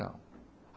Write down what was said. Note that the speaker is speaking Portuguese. Não.